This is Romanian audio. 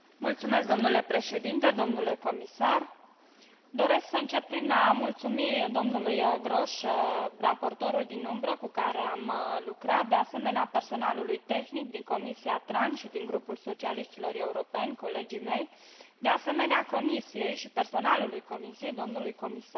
Domnule președinte, domnule comisar, doresc să încep prin a mulțumi domnului Grosch, raportorul din umbră, cu care am lucrat, de asemenea, personalului tehnic din Comisia TRAN și din grupul socialiștilor europeni, colegii mei, de asemenea, Comisiei și personalului Comisiei, domnului comisar,